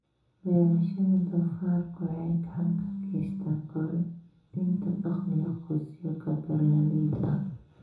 Beerashada doofaarku waxay gacan ka geysataa kordhinta dakhliga qoysaska beeraleyda ah.